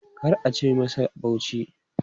Kar a ci masa Bauchi!